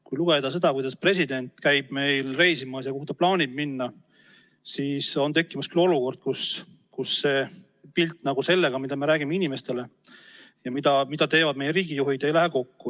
Kui lugeda, kuidas meie president käib reisimas ja kuhu ta plaanib minna, siis on tekkimas olukord, et see pilt, mida me räägime inimestele, ei lähe kokku sellega, mida teevad meie riigijuhid.